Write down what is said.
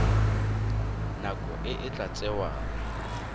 nako e e tla tsewang